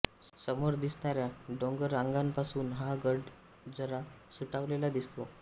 समोर दिसणाऱ्या डोंगररांगापासून हा गड जरा सुटावलेला दिसतो